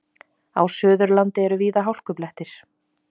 Á Suðurlandi eru víða hálkublettir